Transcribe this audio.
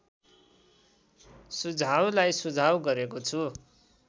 सुझाउलाई सुझाव गरेको छु